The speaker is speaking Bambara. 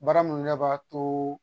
Baara munnu nɛ b'a too